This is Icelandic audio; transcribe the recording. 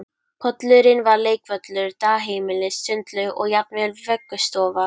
Pollurinn var leikvöllur, dagheimili, sundlaug og jafnvel vöggustofa